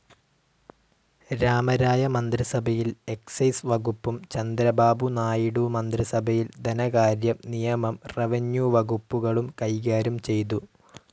രാമരായ മന്ത്രിസഭയിൽ എക്സൈസ്‌ വകുപ്പും ചന്ദ്രബാബുനായിഡു മന്ത്രിസഭയിൽ ധനകാര്യം, നിയമം, റെവന്യൂ വകുപ്പുകളും കൈകാര്യം ചെയ്തു.